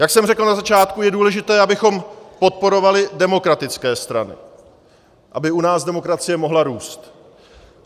Jak jsem řekl na začátku, je důležité, abychom podporovali demokratické strany, aby u nás demokracie mohla růst.